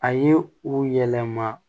A ye u yɛlɛma